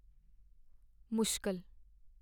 ਮੁਸ਼ਕਲ